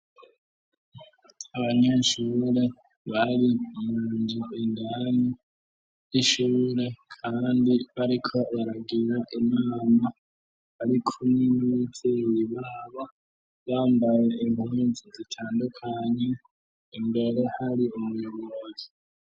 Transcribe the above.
Abanyenshubure bari imunji indane 'ishure, kandi bariko baragira imama ari kune n'ueteyibabo bambaye impunzi zitandukanye ingero hari umuyogozi.